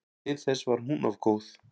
Til þess var hún of góð.